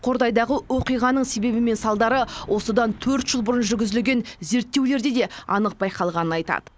қордайдағы оқиғаның себебі мен салдары осыдан төрт жыл бұрын жүргізілген зерттеулерде де анық байқалғанын айтады